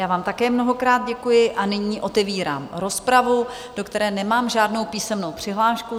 Já vám také mnohokrát děkuji a nyní otevírám rozpravu, do které nemám žádnou písemnou přihlášku.